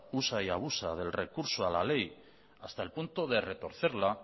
usa y abusa del recurso a la ley hasta el punto de retorcerla